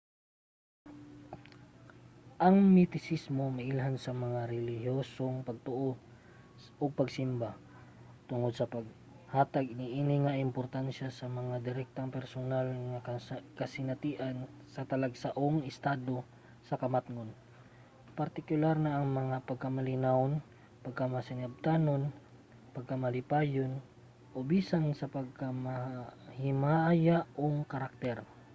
ang mistisismo mailhan sa laing mga relihiyosong pagtuo ug pagsimba tungod sa paghatag niini og importansiya sa direktang personal nga kasinatian sa talagsaong estado sa kamatngon partikular na ang pagkamalinawon pagkamasinabtanon pagkamalipayon o bisan sa pagkamahimayaong karakter